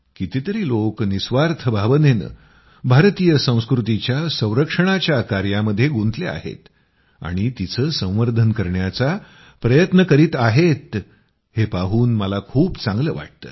कितीतरी लोक निःस्वार्थ भावनेनं भारतीय संस्कृतीच्या संरक्षणाच्या कार्यामध्ये गुंतले आहेत आणि तिचे संवर्धन करण्याचा प्रयत्न करीत आहेत हे पाहून मला खूप चांगलं वाटतं